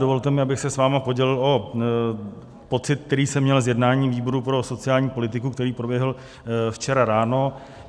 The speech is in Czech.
Dovolte mi, abych se s vámi podělil o pocit, který jsem měl z jednání výboru pro sociální politiku, který proběhl včera ráno.